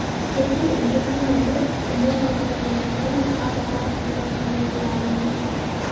Etii nkishiunot kumok olkirobi le korona ata hoo negira iltamoyiak aaponari.